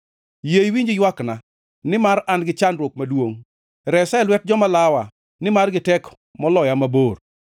Yie iwinj ywakna, nimar an-gi chandruok maduongʼ; resa e lwet joma lawa nimar gitek moloya mabor.